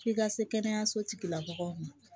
F'i ka se kɛnɛyaso tigila mɔgɔw ma